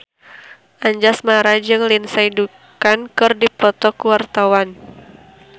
Anjasmara jeung Lindsay Ducan keur dipoto ku wartawan